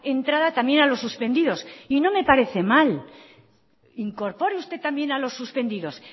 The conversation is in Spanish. entrada también a los suspendidos y no me parece mal incorpore usted también a los suspendidos